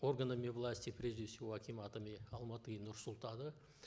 органами власти прежде всего акиматами алматы и нур султана